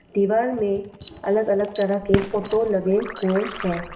दीवार में अलग अलग तरह के फोटो लगे हुए हैं।